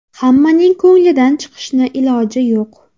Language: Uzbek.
Hammaning ko‘nglidan chiqishni iloji yo‘q.